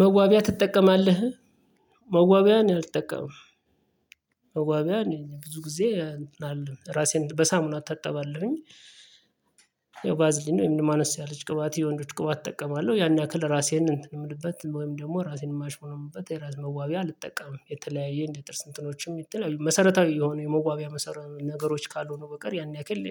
መዋቢያ ትጠቀማለህ መዋቢያ እኔ አልጠቀምም መዋቢያ እኔ ብዙ ጊዜ አልጠቀምም ራሴን በሳሙና አታቀባለሁኝ ያው ቫዝሊን ወይም አነስ ያለች ቅባት የወንዶች ቅባት እጠቀማለሁ ያን ያክል ራሴን እንትን የምልበት ወይም ደግሞ ራሴን የማሽሞነሙንበት የራስ መዋቢ አልጠቀምም የተለያየ እንደ ጥርስ እንትኖችም የሚተላዩ መሰረታዊ የሆነ የመዋቢያ ነገሮች ካልሆኑ በቀር ያን ያክል